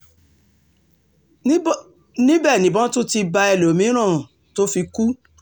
níbẹ̀ nìbọn tún ti bá ẹlọ́mìn-ín tó fi kú